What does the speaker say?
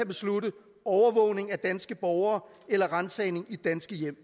beslutte overvågning af danske borgere eller ransagning i danske hjem